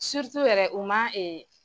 yɛrɛ u ma